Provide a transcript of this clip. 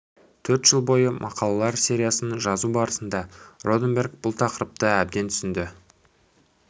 төрт жыл бойы мақалалар сериясын жазу барысында роденберг бұл тақырыпты әбден түсінді